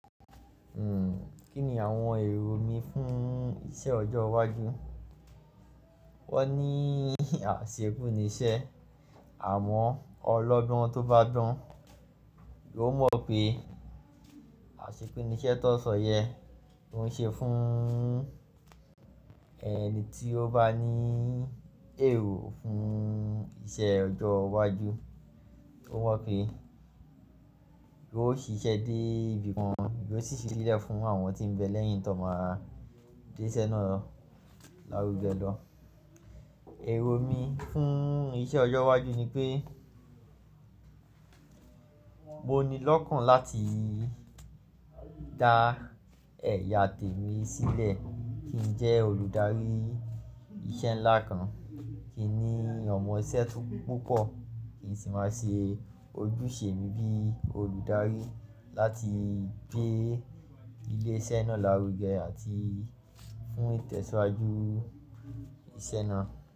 Kí ni àwọn èrò mi fún iṣẹ́ ọjọ́ iwájú? Wọ́n ní àṣekú nisẹ́ àmọ́ ọlọ́gbon tó bá gbon, yóò mọ̀ pé àṣekú nisẹ́ tó n sọ yẹ kó ń ṣe fún ẹni tí ó bá ní èrò fún iṣẹ́ ọjọ́ iwájú, ó mọ pé yóò ṣiṣẹ́ dé ibi kan, yóò sì fi sílẹ̀ fún àwọn tí ń bẹ lẹ́yìn tó n máa gbé iṣẹ́ náà lárugẹ lọ. Èrò mi fún iṣẹ́ ọjọ́ iwájú ni pé mo ní lọ́kàn láti dá ẹ̀ya tèmi sílẹ̀ kí n jẹ́ olùdarí iṣẹ́ ńlá kan, kí n ní ọmọ iṣẹ́ tó púpọ̀ kí n sì máa ṣe ojúṣe mi bí olùdarí láti gbé ilé iṣẹ́ náà lárugẹ àti fún ìtẹ̀síwájú iṣẹ́ náà.